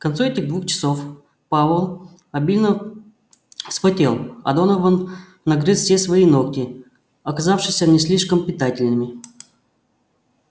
к концу этих двух часов пауэлл обильно вспотел а донован нагрыз все свои ногти оказавшиеся не слишком питательными